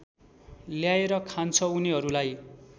ल्याएर खान्छ उनीहरूलाई